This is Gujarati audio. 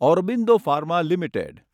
Aurobindo pharma limited